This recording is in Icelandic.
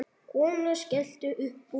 Konan skellti upp úr.